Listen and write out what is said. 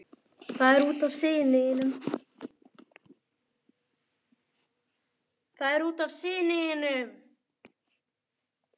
Það er út af syni þínum.